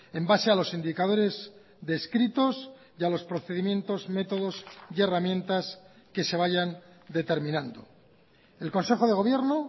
en base a los indicadores descritos y a los procedimientos métodos y herramientas que se vayan determinando el consejo de gobierno